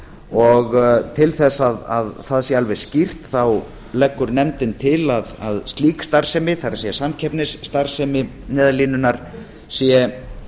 og til þess að það sé alveg skýrt leggur nefndin til að slík starfsemi það er samkeppnisstarfsemi neyðarlínunnar sé